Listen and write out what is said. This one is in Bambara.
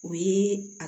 O ye a